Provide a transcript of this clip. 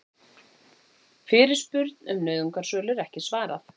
Fyrirspurn um nauðungarsölur ekki svarað